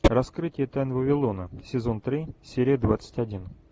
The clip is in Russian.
раскрытие тайн вавилона сезон три серия двадцать один